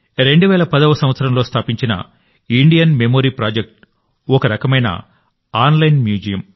2010వ సంవత్సరంలో స్థాపించిన Indian memory project ఒక రకమైన ఆన్లైన్ మ్యూజియం